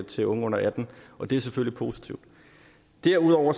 til unge under atten år det er selvfølgelig positivt derudover